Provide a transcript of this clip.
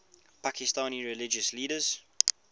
pakistani religious leaders